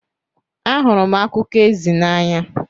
Ahụrụ m akụkọ ezi n'anya.